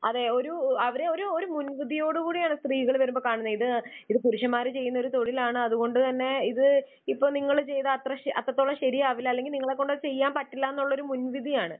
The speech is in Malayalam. അതെ അവരെ, ആ ഒരു ഒരു മുൻവിധിയോടുകൂടി ആണ് സ്ത്രീകളെ വരുമ്പോൾ കാണുന്നത്. ഇത് ഇത് പുരുഷന്മാര് ചെയ്യുന്ന ഒരു തൊഴിൽ ആണ് അതുകൊണ്ട് തന്നെ ഇത് ഇപ്പോൾ നിങ്ങൾ ചെയ്താൽ അത്രത്തോളം ശരിയാവില്ല അല്ലെങ്കിൽ നിങ്ങളെ കൊണ്ട് ചെയ്യാൻ പറ്റില്ല എന്നുള്ള ഒരു മുൻവിധിയാണ്.